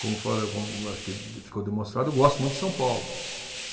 Como, como acho que ficou demonstrado, eu gosto muito de São Paulo.